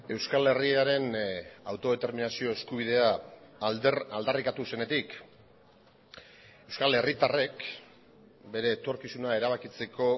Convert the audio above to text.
euskal herriaren autodeterminazio eskubidea aldarrikatu zenetik euskal herritarrek bere etorkizuna erabakitzeko